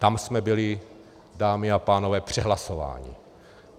Tam jsme byli, dámy a pánové, přehlasováni.